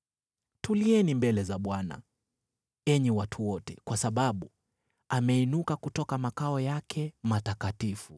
Tulieni mbele za Bwana , enyi watu wote, kwa sababu ameinuka kutoka makao yake matakatifu.”